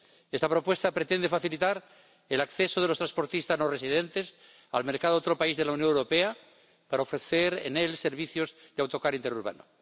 Esta propuesta pretende facilitar el acceso de los transportistas no residentes al mercado de otro país de la Unión Europea para ofrecer en él servicios de autocar interurbano.